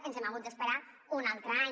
ens hem hagut d’esperar un altre any